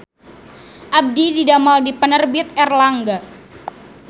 Abdi didamel di Penerbit Erlangga